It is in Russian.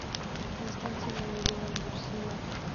константин илларионович синев